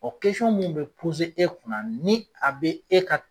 Ɔ mun bɛ e kunna ni a bɛ e ka.